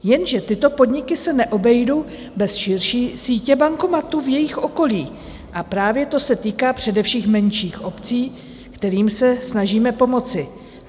Jenže tyto podniky se neobejdou bez širší sítě bankomatů v jejich okolí, a právě to se týká především menších obcí, kterým se snažíme pomoci.